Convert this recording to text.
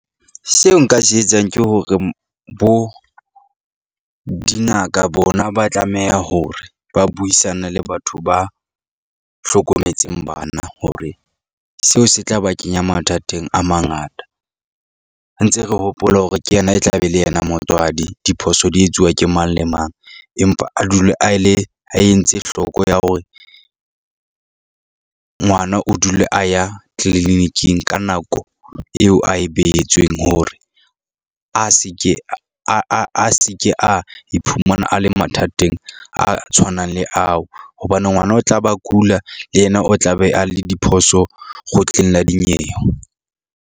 Seo nka se etsang ke hore bo dingaka bona ba tlameha hore ba buisane le batho ba hlokometseng bana hore seo se tla ba kenya mathateng a mangata. Ntse re hopola hore ke yena, e tla be le yena motswadi. Diphoso di etsuwa ke mang le mang, empa a dule a le a entse hloko ya hore ngwana o dule a ya clinic-ing ka nako eo a e behetsweng hore, a se ke a a a a se ke a iphumana a le mathateng a tshwanang le ao. Hobane ngwana o tla ba kula, le yena o tla be a le diphoso kgotleng la dinyewe.